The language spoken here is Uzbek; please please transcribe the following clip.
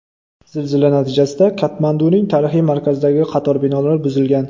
Zilzila natijasida Katmanduning tarixiy markazidagi qator binolar buzilgan.